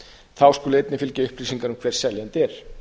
þá skulu einnig fylgja upplýsingar um hver seljandi er